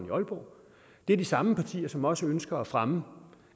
i aalborg det er de samme partier som også ønsker at fremme